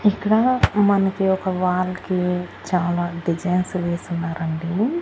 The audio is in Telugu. ఇక్కడ మనకి ఒక వాల్ కి చాలా డిజైన్స్ వేసి ఉన్నారండి.